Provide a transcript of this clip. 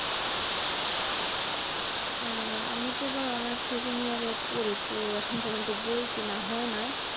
আহ আমি তো এবার অনার্স second year এ পড়ি। তো এখন পর্যন্ত বই কেনা হয়নাই।